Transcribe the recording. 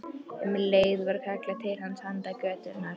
Um leið var kallað til hans handan götunnar.